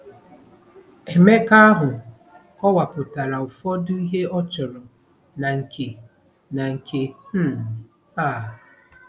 Emeka ahụ kọwapụtara ụfọdụ ihe ọ chọrọ na nke na nke um a.